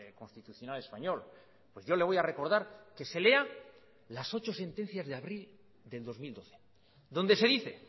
constitucional español pues yo le voy a recordar que se lea las ocho sentencias de abril del dos mil doce donde se dice